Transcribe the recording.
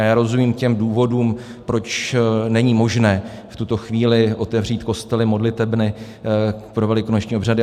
A já rozumím těm důvodům, proč není možné v tuto chvíli otevřít kostely, modlitebny pro velikonoční obřady.